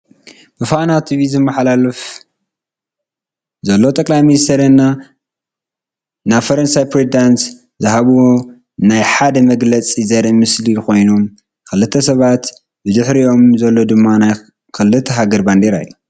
ብፋና ቲቪ ዝመሓለለፍ ዘሎ ጠ/ሚ ዐቢይ እና የፈረንሳዩ ፕሬዝዳንት ዝሃብዎ ናይ ጋራ መግለጫ ዘሪኢ ምስሊኮይኖም። ክልተ ሰባትን ብድሕርይኦም ዘሎ ድማ ናይ ክልተ ሃገር ባንዴራ እዩ።